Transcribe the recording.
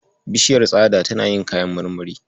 Bishiyar tsada tana yin kayan marmari.